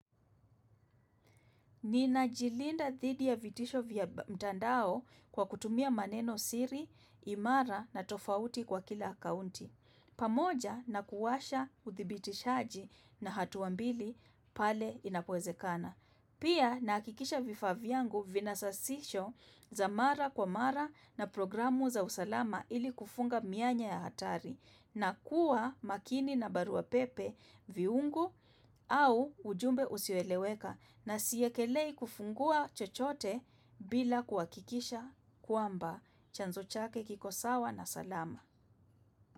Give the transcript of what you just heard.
Ninajilinda dhidi ya vitisho vya mtandao kwa kutumia maneno siri, imara na tofauti kwa kila akaunti. Pamoja na kuwasha uthibitishaji na hatua mbili pale inapowezekana. Pia nahakikisha vifaa vyangu vina sasisho za mara kwa mara na programu za usalama ili kufunga mianya ya hatari. Na kuwa makini na baruapepe viungu au ujumbe usioeleweka na siwekelei kufungua chochote bila kuhakikisha kwamba. Chanzo chake kiko sawa na salama.